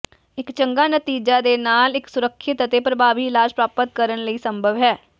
ਇੱਕ ਚੰਗਾ ਨਤੀਜਾ ਦੇ ਨਾਲ ਇੱਕ ਸੁਰੱਖਿਅਤ ਅਤੇ ਪ੍ਰਭਾਵੀ ਇਲਾਜ ਪ੍ਰਾਪਤ ਕਰਨ ਲਈ ਸੰਭਵ ਹੈ